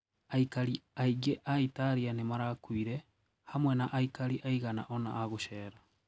Aikari aingĩ aItalia nĩmarakuire, hamwe na aikari aigana ona agũcera.